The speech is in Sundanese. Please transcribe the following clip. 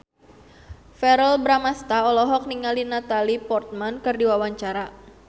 Verrell Bramastra olohok ningali Natalie Portman keur diwawancara